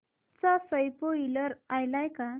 चा स्पोईलर आलाय का